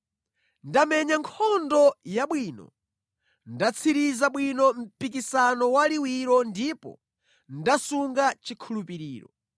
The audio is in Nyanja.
Ndamenya nkhondo yabwino, ndatsiriza bwino mpikisano wa liwiro ndipo ndasunga chikhulupiriro.